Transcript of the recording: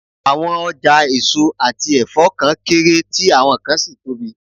Àwọn ọjà èso àti ẹ̀fọ́ kan kéré, tí àwọn kan sì tóbi